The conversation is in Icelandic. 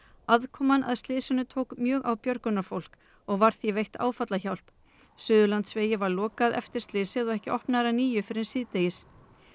aðkoman að slysinu tók mjög á björgunarfólk og var því veitt áfallahjálp Suðurlandsvegi var lokað eftir slysið og ekki opnaður að nýju fyrr en síðdegis